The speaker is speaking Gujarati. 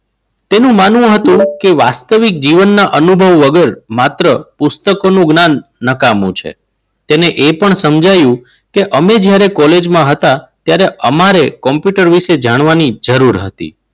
તેનું માનવું હતું કે વાસ્તવિક જીવનના અનુભવ વગર માત્ર પુસ્તકોનું જ્ઞાન નકામું છે. તેને એ પણ સમજાવ્યું કે અમે જ્યારે કોલેજમાં હતા ત્યારે અમારે કોમ્પ્યુટર વિશે જાણવાની જરૂર હતી.